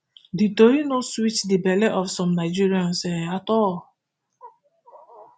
di tori no sweet di belle of some nigerians um at all